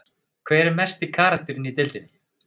Hver er mesti karakterinn í deildinni?